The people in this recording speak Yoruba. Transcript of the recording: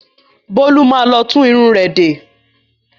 Bólú má lọ tún irun rẹ̀ de.